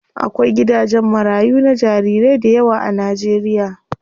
Akwai gidajen marayu na jarirai dayawa a Najeriya.